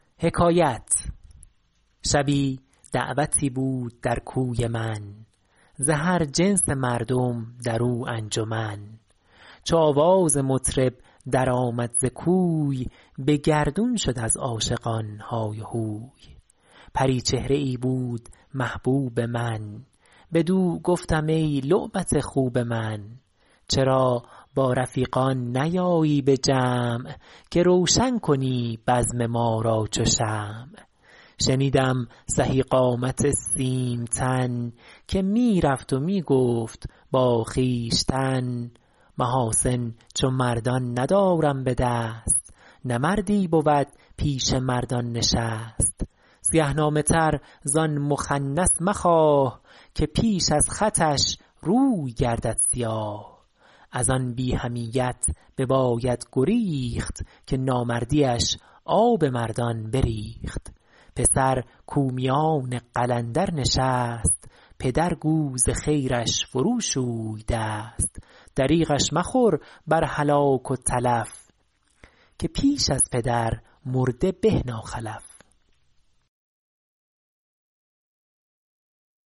شبی دعوتی بود در کوی من ز هر جنس مردم در او انجمن چو آواز مطرب در آمد ز کوی به گردون شد از عاشقان های و هوی پریچهره ای بود محبوب من بدو گفتم ای لعبت خوب من چرا با رفیقان نیایی به جمع که روشن کنی بزم ما را چو شمع شنیدم سهی قامت سیم تن که می رفت و می گفت با خویشتن محاسن چو مردان ندارم به دست نه مردی بود پیش مردان نشست سیه نامه تر زآن مخنث مخواه که پیش از خطش روی گردد سیاه از آن بی حمیت بباید گریخت که نامردیش آب مردان بریخت پسر کاو میان قلندر نشست پدر گو ز خیرش فرو شوی دست دریغش مخور بر هلاک و تلف که پیش از پدر مرده به ناخلف